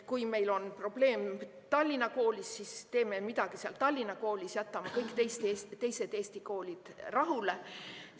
Kui meil on probleem Tallinna koolis, siis teeme midagi seal Tallinna koolis, jätame kõik teised Eesti koolid rahule.